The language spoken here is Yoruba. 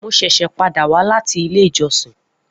Mo ṣẹṣẹ pada wa lati ile ijọsin